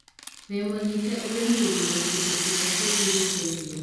Wĩmũnyite ũgeni gũthuura kĩndũ kĩrĩa kĩngĩgũteithia.